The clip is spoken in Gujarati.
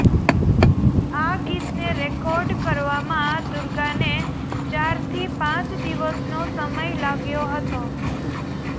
આ ગીતને રેકોર્ડ કરવામાં દુર્ગાને ચારથી પાંચ દિવસનો સમય લાગ્યો હતો